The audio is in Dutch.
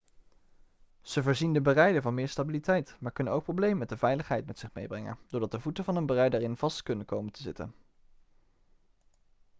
ze voorzien de berijder van meer stabiliteit maar kunnen ook problemen met de veiligheid met zich meebrengen doordat de voeten van een berijder erin vast kunnen komen te zitten